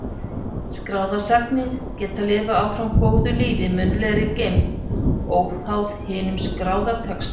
Skráðar sagnir geta lifað áfram góðu lífi í munnlegri geymd, óháð hinum skráða texta.